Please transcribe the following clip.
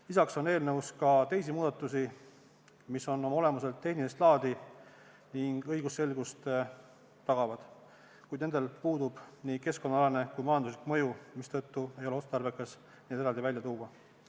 Lisaks on eelnõus ka teisi muudatusi, mis on oma olemuselt tehnilist laadi ning õigusselgust tagavad, kuid nendel puudub nii keskkonnaalane kui ka majanduslik mõju, mistõttu ei ole otstarbekas neid eraldi välja tuua.